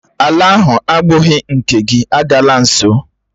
Ala ahụ agbụghị nke gị, agala nso!